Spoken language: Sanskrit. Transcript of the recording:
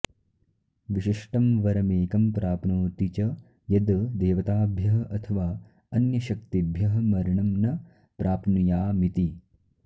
विशिष्टं वरमेकं प्राप्नोति च यद् देवताभ्यः अथवा अन्यशक्तिभ्यः मरणं न प्राप्नुयामिति